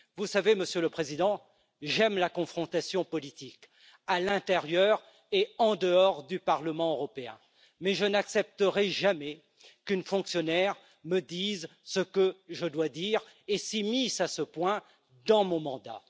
Vous savez, Monsieur le Président, j'aime la confrontation politique, à l'intérieur et en dehors du Parlement européen, mais je n'accepterai jamais qu'une fonctionnaire me dise ce que je dois dire et s'immisce à ce point dans mon mandat.